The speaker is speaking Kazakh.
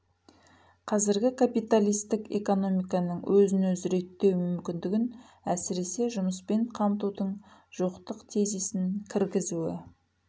қазірғі капиталистік экономиканың өзін-өзі реттеу мүмкіндігін әсіресе жұмыспен қамтудың жоқтық тезисін кіргізуі